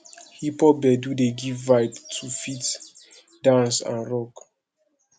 hip pop gbedu dey give vibe to fit dance and rock